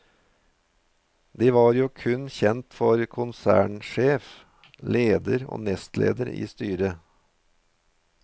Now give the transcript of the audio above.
De var kun kjent for konsernsjef, leder og nestleder i styret.